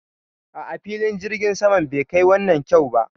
A'a, filin jirgin saman bai kai wannan kyau ba